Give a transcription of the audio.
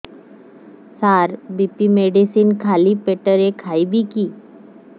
ସାର BP medicine ଖାଲି ପେଟରେ ଖାଇବି କି